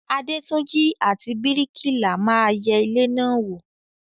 Adétúnjí àti bríkìlà ma yẹ ilé náà wò.